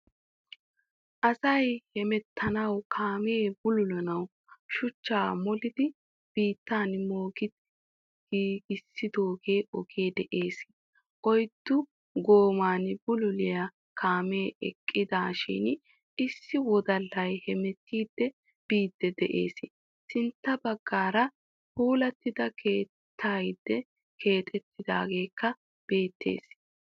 Asayi hemeetanawu kaame buluullanawu shuucha mooli biittan moogidi giigisido oge de'ees. Oyiddu gooman buluulliya kaame eqqiidashin issi wodallayi hemeettidi biidi de'ees. Sintta bagaara puulatidi keexettida keettayikka bettees.